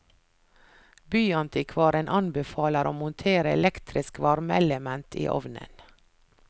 Byantikvaren anbefaler å montere elektrisk varmeelement i ovnen.